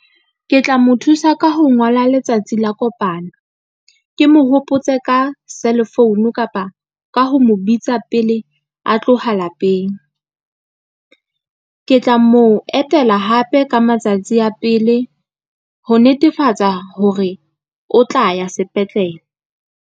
Ke tla mo thusa ka ho ngola letsatsi la kopano. Ke mo hopotse ka cell phone kapa ka ho mo bitsa pele a tloha lapeng, ke tla mo etela hape ka matsatsi a pele, ho netefatsa hore o tla ya sepetlele.